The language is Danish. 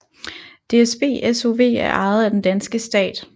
DSB SOV er ejet af den danske stat